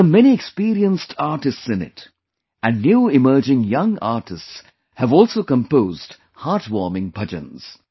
There are many experienced artists in it and new emerging young artists have also composed heartwarming bhajans